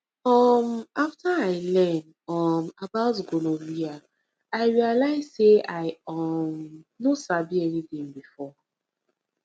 um after i learn um about gonorrhea i realize say i um no sabi anything before